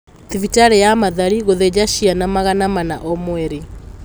Thibitarĩ ya Mathari gũthĩnja ciana magana mana o mweri